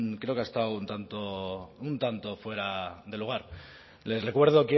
creo que ha estado un tanto fuera de lugar les recuerdo